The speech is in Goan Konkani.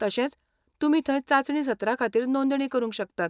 तशेंच तुमी थंय चांचणी सत्राखातीर नोंदणी करूंक शकतात.